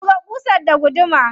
Buga ƙusar da gudumar.